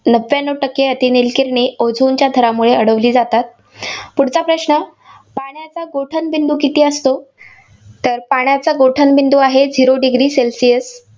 नव्यानव टक्के अतिनील किरणे ozone च्या थरामुळे अडवली जातात. पुढचा प्रश्न. पाण्याचा गोठण बिंदू किती असतो? पाण्याचा गोठण बिंदू आहे zero degree celsius